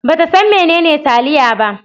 Ba ta san menene taliya ba.